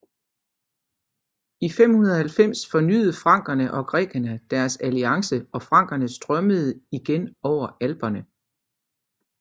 I 590 fornyet frankerne og grækerne deres alliance og frankerne strømmede igen over Alperne